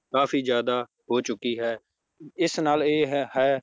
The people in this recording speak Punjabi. ਕਾਫ਼ੀ ਜ਼ਿਆਦਾ ਹੋ ਚੁੱਕੀ ਹੈ ਇਸ ਨਾਲ ਇਹ ਹੈ